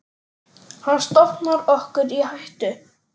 Hann stofnar okkur í hættu.